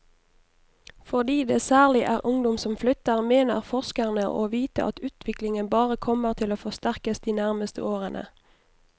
Fordi det særlig er ungdom som flytter, mener forskerne å vite at utviklingen bare kommer til å forsterkes de nærmeste årene.